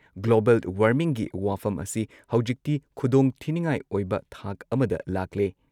Global ꯋꯥꯔꯃꯤꯡꯒꯤ ꯋꯥꯐꯝ ꯑꯁꯤ ꯍꯧꯖꯤꯛꯇꯤ ꯈꯨꯗꯣꯡ ꯊꯤꯅꯤꯉꯥꯏ ꯑꯣꯏꯕ ꯊꯥꯛ ꯑꯃꯗ ꯂꯥꯛꯂꯦ ꯫